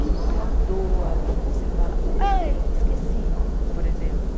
Que não é à toa que você fala, ai, esqueci, por exemplo.